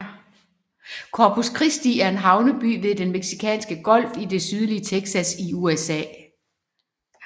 Corpus Christi er en havneby ved Den Mexicanske Golf i det sydlige Texas i USA